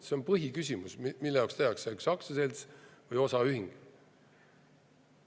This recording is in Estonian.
See on põhi, miks üks aktsiaselts või osaühing tehakse.